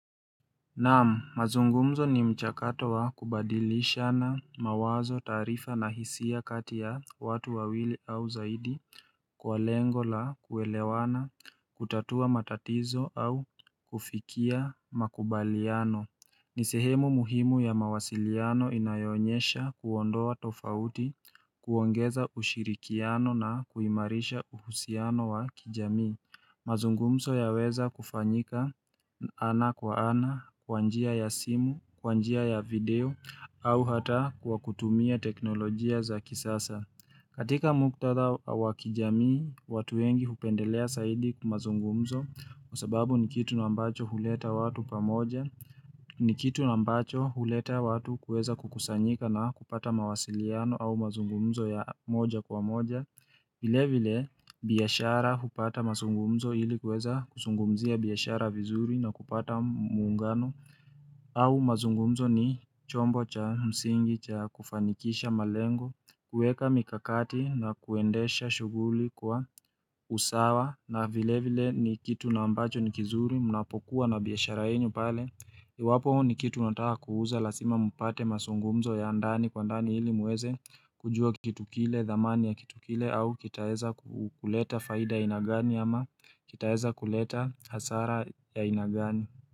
Naam, mazungumzo ni mchakato wa kubadilishana mawazo taarifa na hisia kati ya watu wawili au zaidi kwa lengo la kuelewana, kutatua matatizo au kufikia makubaliano. Ni sehemu muhimu ya mawasiliano inayoonyesha kuondoa tofauti, kuongeza ushirikiano na kuimarisha uhusiano wa kijamii. Mazungumzo yaweza kufanyika ana kwa ana, kwa njia ya simu, kwa njia ya video, au hata kwa kutumia teknolojia za kisasa katika muktadha wakijamii, watu wengi hupendelea zaidi mazungumzo Kwa sababu ni kitu na ambacho huleta watu pamoja ni kitu ambacho huleta watu kuweza kukusanyika na kupata mawasiliano au mazungumzo ya moja kwa moja vile vile biashara hupata mazungumzo ili kuweza kuzungumzia biashara vizuri na kupata muungano au mazungumzo ni chombo cha msingi cha kufanikisha malengo kuweka mikakati na kuendesha shuguli kwa usawa na vile vile ni kitu na ambacho ni kizuri munapokuwa na biashara yenu pale Iwapo ni kitu unataka kuuza lazima mpate mazungumzo ya ndani kwa ndani ili muweze kujua kitu kile dhamani ya kitu kile au kitaweza kuleta faida ya aina gani ama kitaweza kuleta hasara ya aina gani.